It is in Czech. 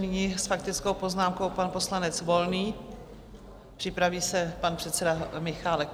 Nyní s faktickou poznámkou pan poslanec Volný, připraví se pan předseda Michálek.